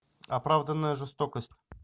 оправданная жестокость